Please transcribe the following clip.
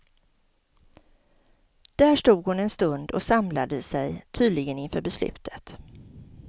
Där stod hon en stund och samlade sig tydligen inför beslutet.